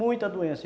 Muita doença.